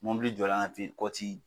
Mobili jɔ la a la ten, kɔti